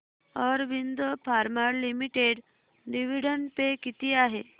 Aurobindo pharma limited dividend pay किती आहे